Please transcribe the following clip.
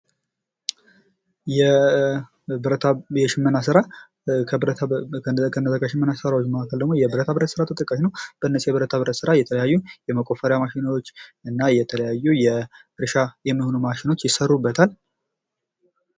የሽመና ስራ :-ከሽመና ስራዎች መካከል ደግሞ የብረታ ብረት ስራ ተጠቃሽ ነዉ። በብረታ ብረት ስራ የተለያዩ የመቆፈሪያ ማሽኖች እና የተለያዩ ለእርሻ የሚሆኑ ይሰሩበታል።